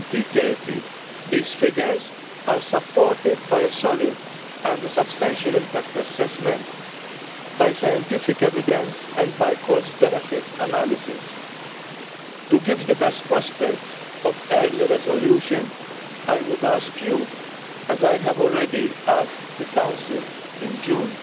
2030. These figures are supported by a solid and a substantial impact assessment, by scientific evidence and by cost benefit analysis. To give the best prospects of early resolution I would ask Parliament, as I have already asked the Council in